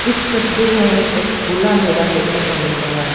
इस तस्वीर में हमें एक खुला मैदान देखने को मिल रहा है।